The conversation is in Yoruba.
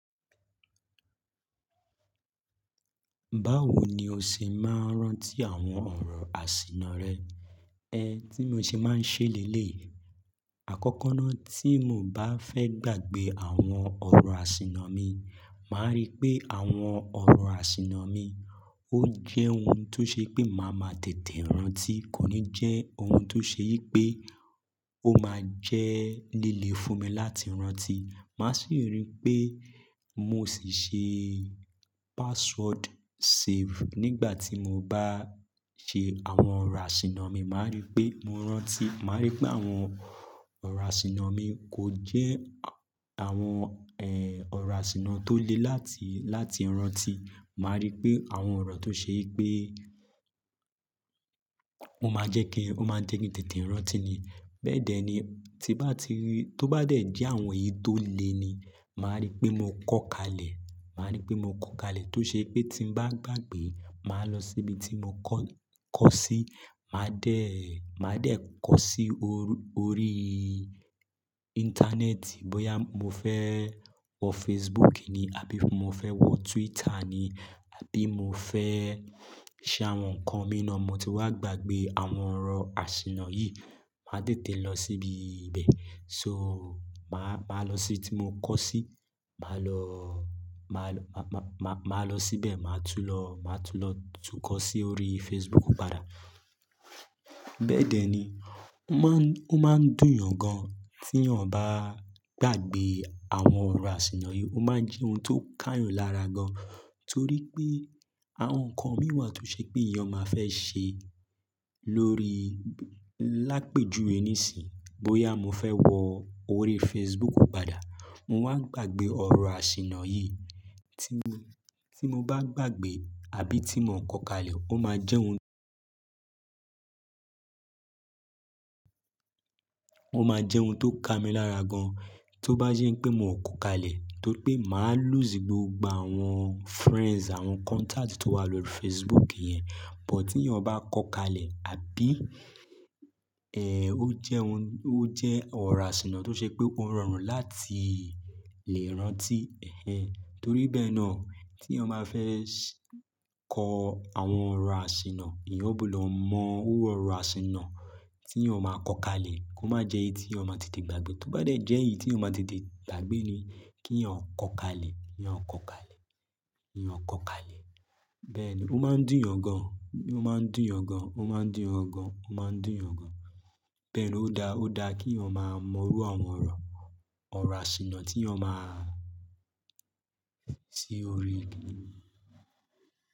Báwo ni o ṣe máa ń rántí àwọn ọ̀rọ̀ àṣìna rẹ? Ẹn, tí mo ṣe máa ń ṣe lẹ́lẹ̀ yi, àkọ́kọ́ náà tí mo bá fẹ́ gbàgbé àwọn ọ̀rọ̀ àṣìna mi, màá rí pé àwọn ọ̀rọ̀ àṣìna mi ó jẹ́ ohun tó ṣe pé máa ma tètè rántí, kò ní jẹ́ ohun tó ṣe yí pé ó máa jẹ́ líle fún mi láti rántí. Màá sì rí pé mo sì ṣe password save nígbà tí mo bá ṣe àwọn ọ̀rọ̀ àṣìna mi, màá rí pé mo rántí, màá rí pé àwọn ọ̀rọ̀ àṣìna mi kò jẹ́ àwọn, ẹ́, ọ̀rọ̀ àṣìna tó le láti, láti rántí. Màá rí pé àwọn ọ̀rọ̀ tó ṣe pé mo máa jẹ́ kí, ó máa jẹ́ kí n tètè rántí ni. Bẹ́ẹ̀dẹ́ ni, tí bá ti rí, tó bá dẹ̀ jẹ́ àwọn èyí tó le ni, màá rí pé mo kọ́ kalẹ̀. Màá rí pé mo kọ́ kalẹ̀ tó ṣe pé tí n bá gbàgbé, màá lọ síbi tí mo kọ́, kọ́ sí, màá déè, màá dé kọ́ sí orú, orí íńtánẹ́ẹ̀tì bóyá mo fẹ́ wọ Facebook ni, àbí mo fẹ́ wọ Twitter ni, àbí mo fẹ́ ṣe àwọn nǹkan mìí na mo ti wá gbàgbé àwọn ọ̀rọ̀ àṣìna yìí, màá tètè lọ síbi ibẹ̀. So, màá, màá lọ sí ibi tí mo kọ́ sí, màá lọ, màá lọ, màá, màá lọ síbẹ̀, màá tún lọ, màá tún lọ tún kọ sí orí Facebook padà. Bẹ́ẹ̀dẹ́ ni. Ó máa ń, ó máa ń dùn yàn gan tí eeyàn bá gbàgbé àwọn ọ̀rọ̀ àṣìna yìí. Ó máa ń jẹ́ ohun tó ká yàn lára gan. Torí pé àwọn nǹkan mìí wa tó ṣe pé eeyàn máa fẹ́ ṣe lórí, lápẹ́ juwe ní sìn, bóyá mo fẹ́ wọ orí Facebook padà, mo wá gbàgbé ọ̀rọ̀ àṣìna yìí tí mo, tí mo bá gbàgbé àbí tí miò kọ kalẹ̀, ó máa jẹ́ ohun, ó máa jẹ́ ohun tó ká mi lára gan. Tó bá jẹ́ pé mio kò kalẹ̀, torí pé màá lù sí gbogbo àwọn friends, àwọn contact tó wà lórí Facebook yẹn. But tí eeyàn bá kọ kalẹ̀, àbí, ẹ́, ó jẹ́ ohun, ó jẹ́ ọ̀rọ̀ àṣìna tó ṣe pé ó rọrùn láti lè rántí. Ẹ̀hen. Torí bẹ́ẹ̀ náà tí eeyàn máa fẹ́ s-- kọ àwọn ọ̀rọ̀ àṣìna, eeyàn gbudọ̀ mọ iru ọ̀rọ̀ àṣìna tí eeyàn máa kọ kalẹ̀, kó má jẹ́ èyí tí eeyàn máa tètè gbàgbé. Tó bá dẹ̀ jẹ́ èyí tí eeyàn máa tètè gbàgbé ni, kí eeyàn kọ kalẹ̀, kí eeyàn kọ kalẹ̀, kí eeyàn kọ kalẹ̀. Bẹ́ẹ̀ ni, ó máa ń dùn yàn gan. Ó máa ń dùn yàn gan. Ó máa ń dùn yàn gan. Ó máa ń dùn yàn gan. Bẹ́ẹ̀ ni, ó da, ó da kí eeyàn máa mọ iru àwọn ọ̀rọ̀, ọ̀rọ̀ àṣìna tí eeyàn máa sí orí.